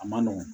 A man nɔgɔn